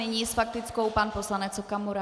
Nyní s faktickou pan poslanec Okamura.